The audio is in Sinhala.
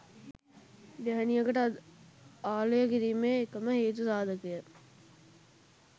ගැහැණියකට ආලය කිරීමේ එකම හේතු සාධකය